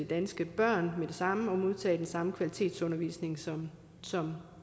danske børn med det samme og modtage den samme kvalitetsundervisning som som